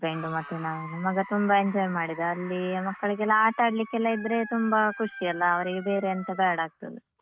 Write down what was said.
Husband ಮತ್ತೆ ನಾವು ಮಗ ತುಂಬಾ enjoy ಮಾಡಿದ, ಅಲ್ಲಿ ಮಕ್ಕಳಿಗೆಯೆಲ್ಲ ಆಟ ಆಡ್ಲಿಕ್ಕೆಲ್ಲಇದ್ರೆ ತುಂಬಾ ಖುಷಿ ಅಲ್ಲ, ಅವರಿಗೆ ಬೇರೆ ಎಂತ ಬೇಡ ಆಗ್ತದೆ.